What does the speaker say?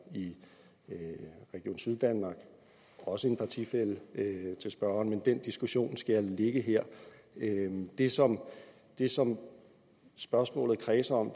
i region syddanmark også en partifælle til spørgeren men den diskussion skal jeg lade ligge her det som det som spørgsmålet kredser om